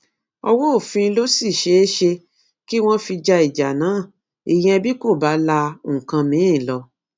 ọwọ òfin ló sì ṣeé ṣe kí wọn fi ja ìjà náà ìyẹn bí kò bá la nǹkan mìín lọ